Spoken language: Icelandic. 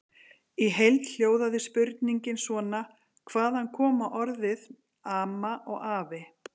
Í heild hljóðaði spurningin svona: Hvaðan koma orðin AMMA og AFI?